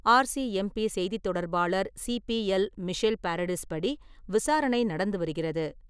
RCMP செய்தித் தொடர்பாளர் CPL, Michelle Paradis படி, விசாரணை நடந்து வருகிறது.